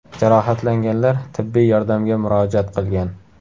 Jarohatlanganlar tibbiy yordamga murojaat qilgan.